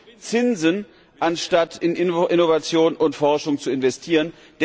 Wir zahlen Zinsen, anstatt in Innovation und Forschung zu investieren.